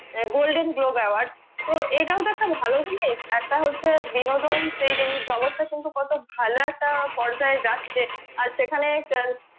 আহ golden globe award তো এটা ও তো একটা ভালো জিনিস একটা হচ্ছে বিনোদন সেইদিন জগৎ টা কিন্তু কত ভালো একটা পর্যায়ে যাচ্ছে আর সেখানে